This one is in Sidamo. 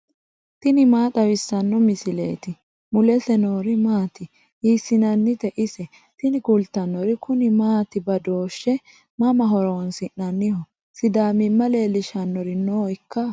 tini maa xawissanno misileeti ? mulese noori maati ? hiissinannite ise ? tini kultannori kuni maati badooshshe mama horoonsi'nanniho sidaamimma leellishshannori noikka